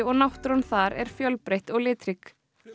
náttúran þar er fjölbreytt og litrík